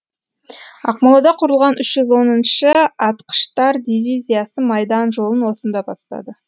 ақмолада құрылған үш жүз отызыншы атқыштар дивизиясы майдан жолын осында бастады